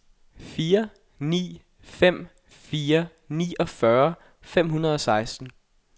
fire ni fem fire niogfyrre fem hundrede og seksten